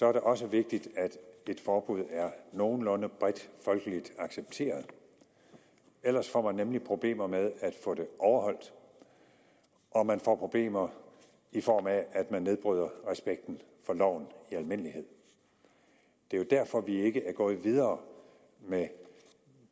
er det også vigtigt at et forbud er nogenlunde bredt folkeligt accepteret ellers får man nemlig problemer med at få det overholdt og man får problemer i form af at man nedbryder respekten for loven i almindelighed det er jo derfor at vi ikke er gået videre med